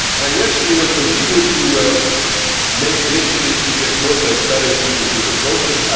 Yes, we will continue to make initiatives to get more transparency into the process.